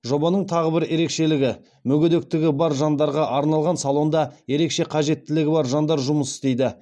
жобаның тағы бір ерекшелігі мүгедектігі бар жандарға арналған салонда ерекше қажеттілігі бар жандар жұмыс істейді